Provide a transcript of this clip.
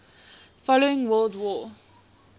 following world war